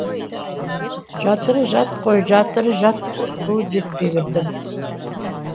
жатыры жат қой жатыры жат бұл жетпегірдің